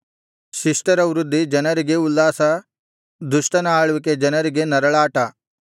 ಶಿಷ್ಟರ ವೃದ್ಧಿ ಜನರಿಗೆ ಉಲ್ಲಾಸ ದುಷ್ಟನ ಆಳ್ವಿಕೆ ಜನರಿಗೆ ನರಳಾಟ